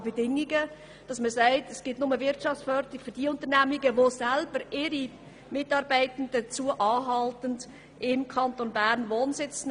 Man könnte sagen, es gäbe nur Wirtschaftsförderung für Unternehmungen, die selber ihre Mitarbeitenden dazu anhalten, im Kanton Bern Wohnsitz zu nehmen.